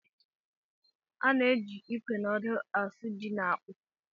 A na-eji ikwe na odo asụ ji na akpụ.